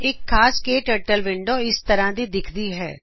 ਇਕ ਖਾਸ ਕੇ ਟਰਟਲ ਵਿੰਡੋ ਇਸ ਤਰ੍ਵਾ ਦੀ ਦਿਖਦੀ ਹੈ